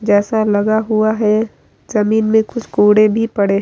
जैसा लगा हुआ है जमीन मे कुछ कोड़े भी पड़े --